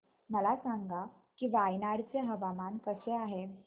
मला सांगा की वायनाड चे हवामान कसे आहे